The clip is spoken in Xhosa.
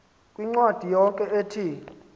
kwincwadi yakhe ethi